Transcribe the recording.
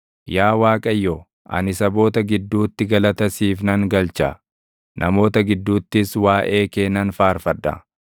Yaa Waaqayyo, ani saboota gidduutti galata siif nan galcha; namoota gidduuttis waaʼee kee nan faarfadha.